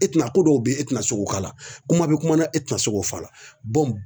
E tɛna ko dɔw bɛ ye e tɛna se k'o k'a la kuma bɛ kuma na e tɛna se k'o fɔ a la